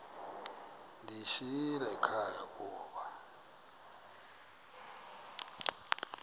ndiyishiyile ekhaya koba